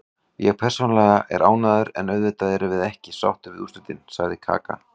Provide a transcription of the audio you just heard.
Ég persónulega er ánægður, en auðvitað erum við ekki sáttir við úrslitin, sagði Kaka.